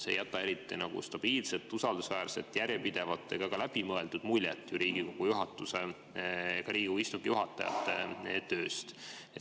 See ei jäta eriti stabiilset, usaldusväärset, järjepidevat ega ka läbimõeldud muljet Riigikogu juhatuse, ka Riigikogu istungi juhatajate tööst.